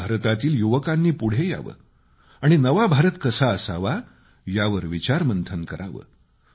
नव भारतातील युवकांनी पुढं यावं आणि नवा भारत कसा असावा यावर विचारमंथन करावं